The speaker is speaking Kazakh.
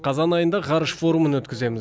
қазан айында ғарыш форумын өткіземіз